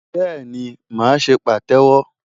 Bẹ́ẹ̀ni, màá ṣe pàtẹ́wọ́.